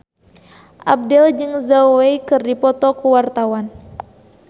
Abdel jeung Zhao Wei keur dipoto ku wartawan